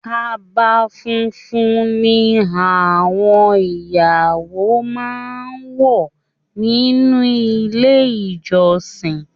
Kaba fúnfún ní àwọn ìyàwó máa n wọ nínú ilé ìjọsìn.